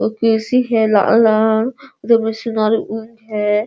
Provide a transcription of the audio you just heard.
एक कुर्सी है लाल और है।